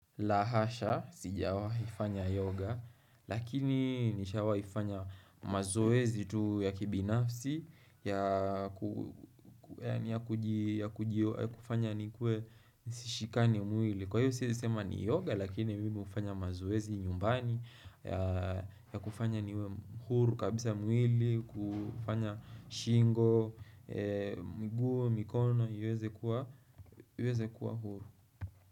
La hasha, sijawahi fanya yoga, lakini nishawai fanya mazoezi tu ya kibinafsi, ya kufanya nikue sishikani mwili. Kwa hiyo siezi sema ni yoga, lakini mimi hufanya mazoezi nyumbani, ya kufanya niwe huru kabisa mwili, kufanya shingo, miguu, mikono, iweze kuwa, iweze kuwa huru.